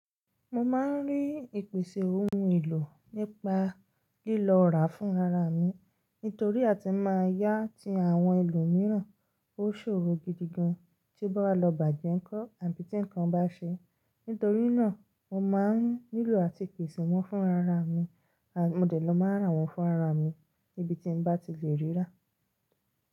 Mo máa ń rí ìpèsè ohun èlò nípa lílo ọ̀rá fún rara mi. Nítorí a ti máa yá ti àwọn ẹlòmíràn ó ṣòro gidi gan, tí báwa lọ bàjẹ́ ńkọ́ àbí tí ǹnkan bá ṣe. Nítorínà, mo máa ń nílò àti pèsè wọ́n fún rara mi. Mo dè lọ máa n rà wọ́n fún ara mi níbi tí mo bá ti lè ríra.